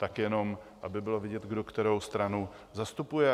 Tak jenom aby bylo vidět, kdo kterou stranu zastupuje.